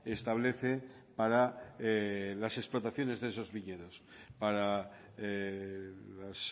establece para las explotaciones de esos viñedos para las